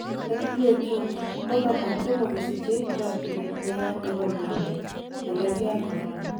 WHO:Kokamwa tomo kosiche 'chokyinet neya nebo miondo' nekerge ak corona